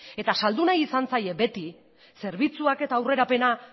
eta saldu nahi izan zaie beti zerbitzuak eta aurrerapena